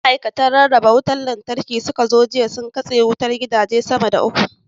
Da ma'aikatan kamfanin rarraba wutar Lantarki suka zo jiya, sun katse wutar gidaje sama da uku.